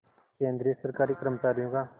केंद्रीय सरकारी कर्मचारियों का